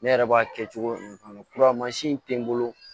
Ne yɛrɛ b'a kɛ cogo mun na kuramasi in tɛ n bolo